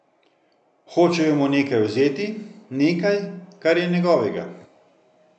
Hočejo mu nekaj vzeti, nekaj, kar je njegovega.